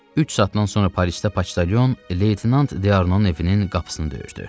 Üç saatdan sonra Parisdə poçtalyon Leytenant D'Arnonun evinin qapısını döyürdü.